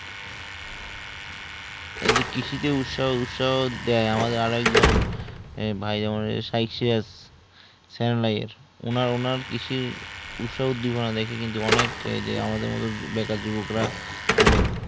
এই জি কৃষি তে উৎসাহ উৎসাহ দেয় আমাদের আরেকজন ভাই যেমন সাইকসিয়ার সাংলায়ের উনার কৃষির উৎসাহ দিবেনা ডাকদি কিন্তু অনেক ক যেমন আমাদের মতো বেকার যুবকরা অনেক